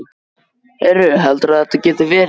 Heyrðu. heldurðu að þetta geti verið.